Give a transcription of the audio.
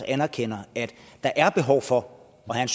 anerkender at der er behov for at have